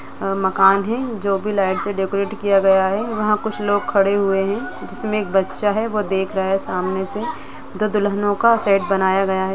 मकान है जो लाइट्स से डेकोरेट किया गया है वहां कुछ लोग खड़े हुए है जिसके एक बच्चा देख रहा है सामने से दो दुल्हनों का सेट बनाया गया है।